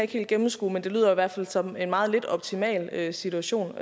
kan gennemskue men det lyder i hvert fald som en meget lidt optimal situation